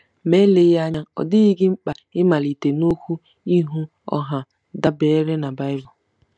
Ma eleghị anya ọ dịghị gị mkpa ịmalite n'okwu ihu ọha dabeere na Bible..